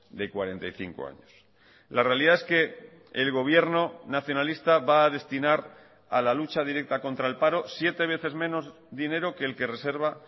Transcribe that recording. de cuarenta y cinco años la realidad es que el gobierno nacionalista va a destinar a la lucha directa contra el paro siete veces menos dinero que el que reserva